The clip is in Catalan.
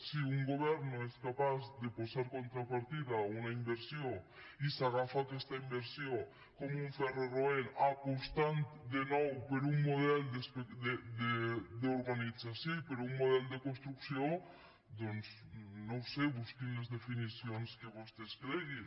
si un govern no és capaç de posar contrapartida a una inversió i s’agafa a aquesta inversió com un ferro roent apostant de nou per un model d’organització i per un model de construcció doncs no ho sé busquin les definicions que vostès creguin